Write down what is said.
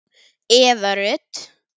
Eva Rut